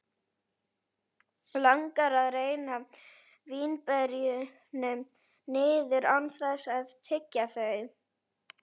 Langar að renna vínberjunum niður án þess að tyggja þau.